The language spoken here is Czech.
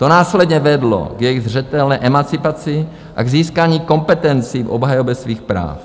To následně vedlo k jejich zřetelné emancipaci a k získání kompetencí v obhajobě jejich práv.